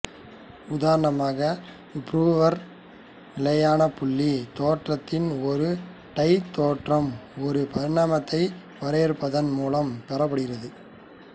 உதாரணமாக ப்ரூவர் நிலையானபுள்ளி தேற்றத்தின் ஒரு டாய் தேற்றம் ஒரு பரிமாணத்தை வரையறுப்பதன் மூலம் பெறப்படுகிறது